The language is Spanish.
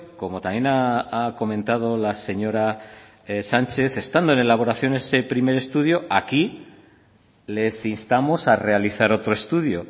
como también ha comentado la señora sánchez estando en elaboraciones ese primer estudio aquí les instamos a realizar otro estudio